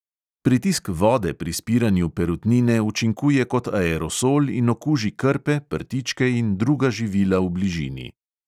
Pritisk vode pri spiranju perutnine učinkuje kot aerosol in okuži krpe, prtičke in druga živila v bližini.